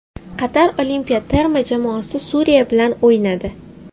Qatar olimpiya terma jamoasi Suriya bilan o‘ynadi.